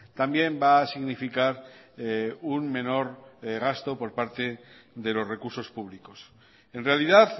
también va a significar un menor gasto por parte de los recursos públicos en realidad